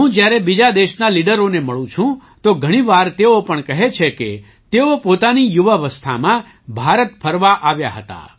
હું જ્યારે બીજા દેશના લીડરોને મળું છું તો ઘણી વાર તેઓ પણ કહે છે કે તેઓ પોતાની યુવાવસ્થામાં ભારત ફરવા આવ્યા હતા